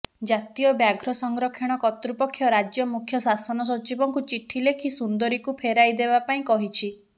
ଜାତୀୟ ବ୍ୟାଘ୍ର ସଂରକ୍ଷଣ କର୍ତ୍ତୃପକ୍ଷ ରାଜ୍ୟ ମୁଖ୍ୟ ଶାସନ ସଚିବଙ୍କୁ ଚିଠି ଲେଖି ସୁନ୍ଦରୀକୁ ଫେରାଇଦେବା ପାଇଁ କହିଛି